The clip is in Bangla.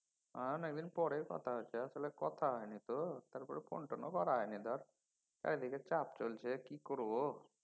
হ্যাঁ অনেকদিন পরে কথা হচ্ছে। আসলে কথা হয়নি তো। তারপরে phone টোন ও করা হয়নি ধর। এইদিকে চাপ চলছে কি করব।